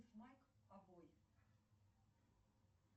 стоимость евро в втб банке